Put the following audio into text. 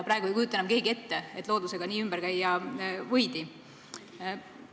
Praegu ei kujuta enam keegi ette, et loodusega nii ümber käia võiks.